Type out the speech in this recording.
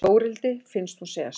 Þórhildi finnst hún segja satt.